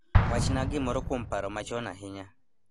Wachna gimoro kuom paro machon ahinya